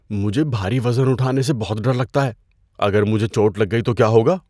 مجھے بھاری وزن اٹھانے سے بہت ڈر لگتا ہے۔ اگر مجھے چوٹ لگ گئی تو کیا ہوگا؟